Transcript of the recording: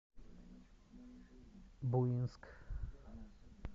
буинск